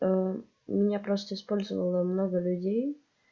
у меня просто использовала много людей